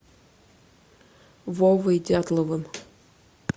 вовой дятловым